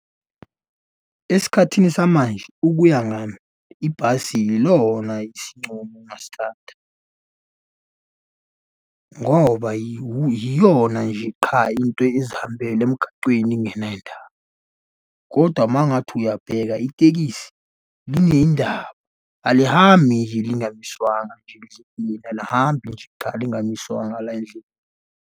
Esikhathini samanje ukuya ngami ibhasi yilona isincumo engingasithatha, ngoba yiyona nje qha into ezihambela emgacweni ingenendaba, kodwa uma ngathi uyabheka itekisi linendaba, alihambi nje lingamiswanga lize kimina, alihambi nje qha lingamiswanga la endlini.